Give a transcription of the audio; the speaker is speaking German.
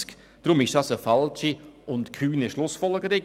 Deshalb ist dies eine falsche und kühne Schlussfolgerung.